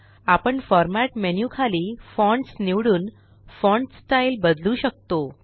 आपण format menu खालीFonts निवडून फॉण्ट स्टाइल बदलू शकतो